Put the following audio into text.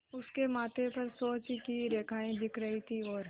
उसके माथे पर सोच की रेखाएँ दिख रही थीं और